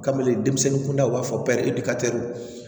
Kabini denmisɛnnin kunda u b'a fɔ